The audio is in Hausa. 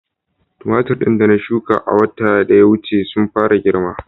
Tumatir da na shuka a watan da ya wuce sun fara girma